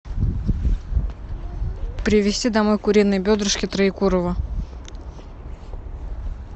привезти домой куриные бедрышки троекурово